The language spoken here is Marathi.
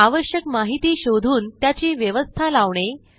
आवश्यक माहिती शोधून त्याची व्यवस्था लावणे